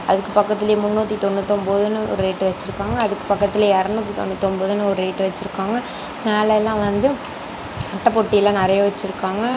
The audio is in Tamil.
அதுக்கு பக்கத்துலயே முன்னூத்தி தொன்னூதி ஓன்பதுனு ஒரு ரேட் வெச்சுருக்காங்க அதுக்கு பக்கத்துல இறனூத்தி தொன்னூத்தி ஒன்பதுனு ஒரு ரேட் வெச்சுருக்காங்க மேலையெல்லா வந்து அட்டைப்பொட்டி எல்லா நெறையா வெச்சுருக்காங்க.